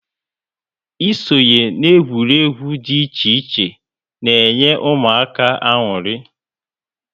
Ịsonye na egwuregwu dị iche iche na enye ụmụaka añụrị